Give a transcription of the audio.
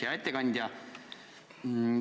Hea ettekandja!